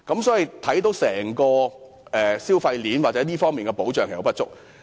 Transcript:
所以，整個消費鏈或這方面的保障其實並不足。